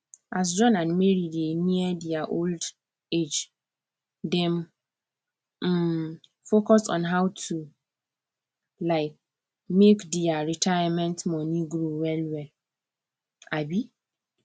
as john and mary dey near their old age dem um focus on how to um make their retirement money grow wellwell um